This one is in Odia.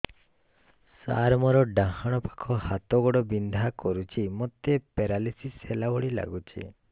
ସାର ମୋର ଡାହାଣ ପାଖ ହାତ ଗୋଡ଼ ବିନ୍ଧା କରୁଛି ମୋତେ ପେରାଲିଶିଶ ହେଲା ଭଳି ଲାଗୁଛି